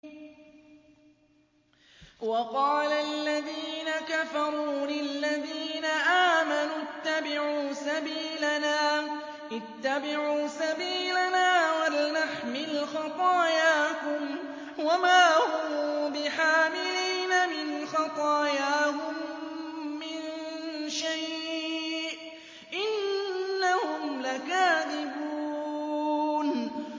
وَقَالَ الَّذِينَ كَفَرُوا لِلَّذِينَ آمَنُوا اتَّبِعُوا سَبِيلَنَا وَلْنَحْمِلْ خَطَايَاكُمْ وَمَا هُم بِحَامِلِينَ مِنْ خَطَايَاهُم مِّن شَيْءٍ ۖ إِنَّهُمْ لَكَاذِبُونَ